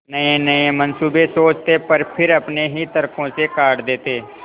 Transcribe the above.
नयेनये मनसूबे सोचते पर फिर अपने ही तर्को से काट देते